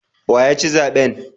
Wa ya ci zaben?